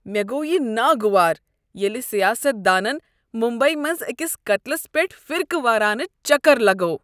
مےٚ گوٚو یہ ناگوار ییٚلہ سیاست دانن ممبیی منٛز أکس قتلس پیٹھ فرقہٕ وارانہ چکر لگوو۔